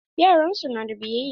Yaran su na da biyayya.